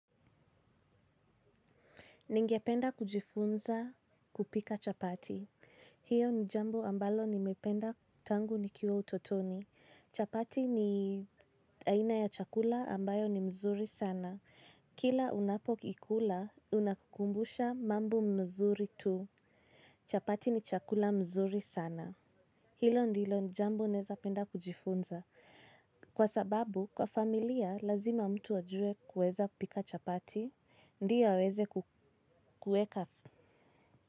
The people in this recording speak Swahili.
Ningependa kujifunza kupika chapati. Hiyo ni jambo ambalo nimependa tangu nikiwa utotoni. Chapati ni aina ya chakula ambayo ni mzuri sana. Kila unapoikula, unakukumbusha mambo mzuri tu. Chapati ni chakula mzuri sana. Hilo ndilo jambo neza penda kujifunza. Kwa sababu, kwa familia, lazima mtu wajue kueza kupika chapati. Ndio aweze kueka.